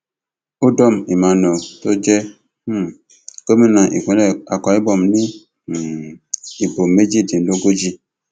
udom emmanuel tó jẹ um gómìnà ìpínlẹ akwa ibom ní um ìbò méjìdínlógójì